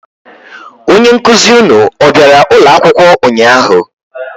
Onye nkụzị ụnụ ọ bịara ụlọ akwụkwọ ụnyaahụ?